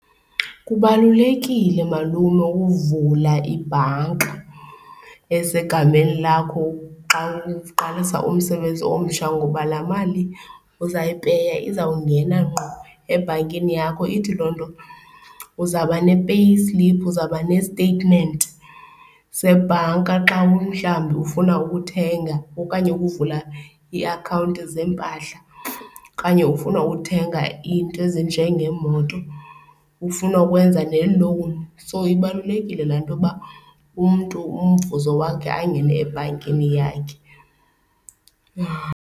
Kubalulekile malume ukuvula ibhanka esegameni lakho xa uqalisa umsebenzi omsha ngoba laa mali uzayipeya izawungena ngqo ebhankini yakho. Ithi loo nto uzawuba ne payslip, uzawuba ne-statement sebhanka xa mhlawumbi ufuna ukuthenga okanye ukuvula iiakhawunti zeempahla okanye ufuna uthenga iinto ezinjengeemoto, ufuna ukwenza nelowuni. So, ibalulekile laa nto yoba umntu umvuzo wakhe angene ebhankini yakhe.